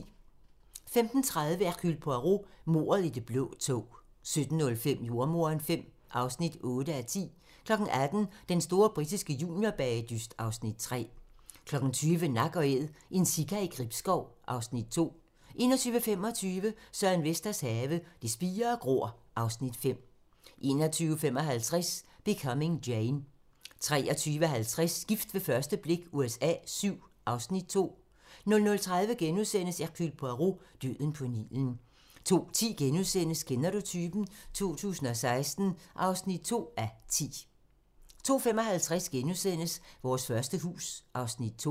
15:30: Hercule Poirot: Mordet i det blå tog 17:05: Jordemoderen V (8:10) 18:00: Den store britiske juniorbagedyst (Afs. 3) 20:00: Nak & Æd - en sika i Gribskov (Afs. 2) 21:25: Søren Vesters have - Det spirer og gror (Afs. 5) 21:55: Becoming Jane 23:50: Gift ved første blik USA VII (Afs. 2) 00:30: Hercule Poirot: Døden på Nilen * 02:10: Kender du typen? 2016 (2:10)* 02:55: Vores første hus (Afs. 2)*